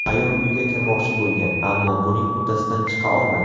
Ayol uyga kirmoqchi bo‘lgan, ammo buning uddasidan chiqa olmagan.